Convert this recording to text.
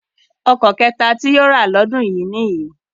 Ọkọ̀ kẹta tí yóò rà lọ́dún yìí nìyí